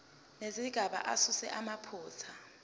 nezigaba asuse amaphutha